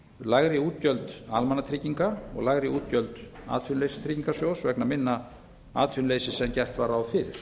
lægri útgjöld almannatrygginga og lægri útgjöld atvinnuleysistryggingasjóðs vegna minna atvinnuleysis en gert var ráð fyrir